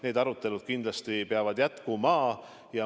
Need arutelud peavad kindlasti jätkuma.